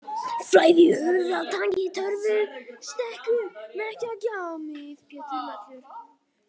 Flæðihöfðatangi, Torfustekkur, Merkjagjá, Mið-Pétursmelur